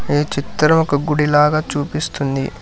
ఈ చిత్రం ఒక గుడిలాగా చూపిస్తుంది.